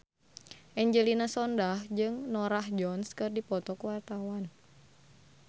Angelina Sondakh jeung Norah Jones keur dipoto ku wartawan